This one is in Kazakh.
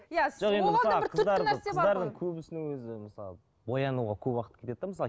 боянуға көп уақыт кетеді де мысалы